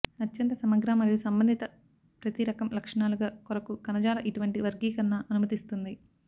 అత్యంత సమగ్ర మరియు సంబంధిత ప్రతి రకం లక్షణాలుగా కొరకు కణజాల ఇటువంటి వర్గీకరణ అనుమతిస్తుంది